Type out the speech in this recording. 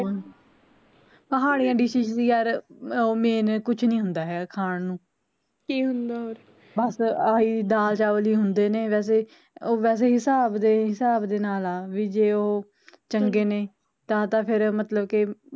ਉਹ main ਕੁਛ ਨੀ ਹੁੰਦਾ ਹੈ ਖਾਣ ਨੂੰ ਬਸ ਆਹੀਂ ਦਾਲ ਚਾਵਲ ਈ ਹੁੰਦਾ ਨੇ ਵੈਸੇ, ਵੈਸੇ ਹਿਸਾਬ ਹਿਸਾਬ ਦੇ ਨਾਲ ਆ ਵੀ ਜੇ ਉਹ ਚੰਗੇ ਨੇ ਤਾਂ ਤਾਂ ਫੇਰ ਮਤਲਬ ਕਿ